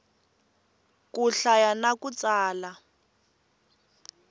ku hlaya na ku tsala